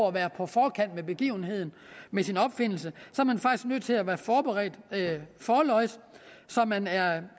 at være på forkant med begivenheden med sin opfindelse at være forberedt forlods så man er